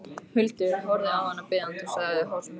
Huldu, horfði á hana biðjandi og sagði hásum rómi